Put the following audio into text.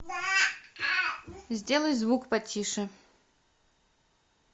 сделай звук потише